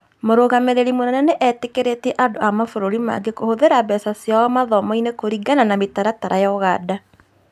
Mũrũgamĩrĩri mũnene nĩ etĩkĩrĩtie andũ a mabũrũri mangĩ kũhũthĩra mbeca ciao mathomo-inĩ kũringana na mĩtaratara ya Ũganda